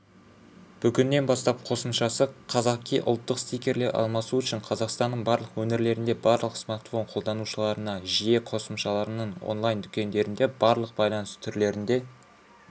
бүгіннен бастап қосымшасы қазақи ұлттық стикерлер алмасу үшін қазақстанның барлық өңірлерінде барлық смартфон қолданушыларына жиі қосымшалараның онлайн-дүкендерінде барлық байланыс түрлерінде